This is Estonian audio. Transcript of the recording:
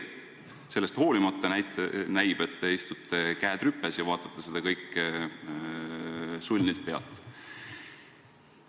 Sellest hoolimata näib, et teie istute, käed rüpes, ja vaatate seda kõike sulnilt pealt.